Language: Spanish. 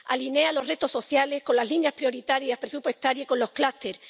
alinea los retos sociales con las líneas prioritarias presupuestarias y con los clústers